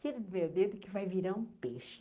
Tira do meu dedo que vai virar um peixe.